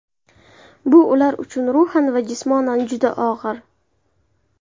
Bu ular uchun ruhan va jismonan juda og‘ir.